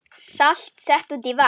Salt sett út í vatn